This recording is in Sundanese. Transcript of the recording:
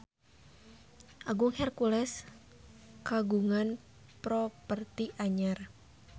Agung Hercules kagungan properti anyar